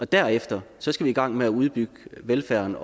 derefter skal vi i gang med at udbygge velfærden